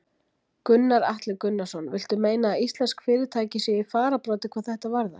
Gunnar Atli Gunnarsson: Viltu meina að íslensk fyrirtæki séu í fararbroddi hvað þetta varðar?